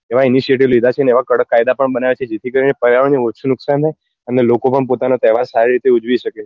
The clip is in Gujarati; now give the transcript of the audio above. એવા individual લીધા છે ને એવા કડક કાયદા પણ બનાવ્યા છે જેથી કરી ને પર્યાવરણ ને ઓછું નુકસાન થાય અને લોકો પણ પોતાના તહેવાર સારી રીતે ઉજવી સકે